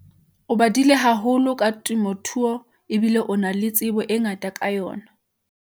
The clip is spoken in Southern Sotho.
o badile haholo ka temothuo ebile o na le tsebo e ngata ka yona